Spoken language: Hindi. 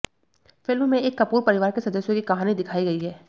फिल्म में एक कपूर परिवार के सदस्यों की कहानी दिखाई गई है